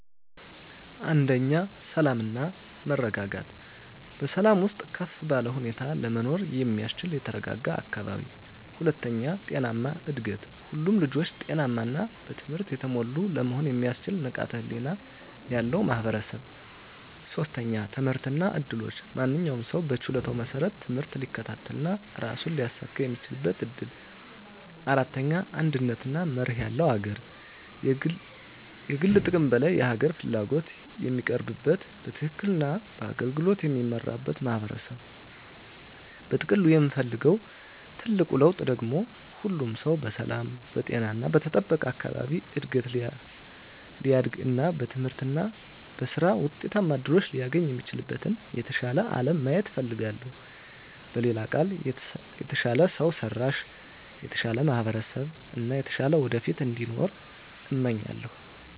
1. ሰላም እና መረጋጋት በሰላም ውስጥ ከፍ ባለ ሁኔታ ለመኖር የሚያስችል የተረጋጋ አካባቢ። 2. ጤናማ እድገት ሁሉም ልጆች ጤናማ እና በትምህርት የተሞሉ ለመሆን የሚያስችል ንቃተ ህሊና ያለው ማህበረሰብ። 3. ትምህርት እና እድሎች ማንኛውም ሰው በችሎታው መሰረት ትምህርት ሊከታተል እና ራሱን ሊያሳኵን የሚችልበት እድል። 4. አንድነት እና መርህ ያለው አገር የግል ጥቅም ከላይ የሀገር ፍላጎት የሚቀርብበት፣ በትክክል እና በአገልግሎት የሚመራበት ማህበረሰብ። በጥቅሉ የምፈልገው ትልቁ ለውጥ ደግሞ ሁሉም ሰው በሰላም፣ በጤና እና በተጠበቀ አካባቢ እድገት ሊያድግ እና በትምህርት እና በሥራ ውጤታማ እድሎችን ሊያገኝ የሚችልበትን የተሻለ አለም ማየት እፈልጋለሁ። በሌላ ቃል፣ የተሻለ ሰው ሰራሽ፣ የተሻለ ማህበረሰብ እና የተሻለ ወደፊት እንዲኖር እመኛለሁ።